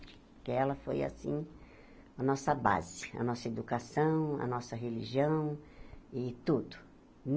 Porque ela foi, assim, a nossa base, a nossa educação, a nossa religião e tudo.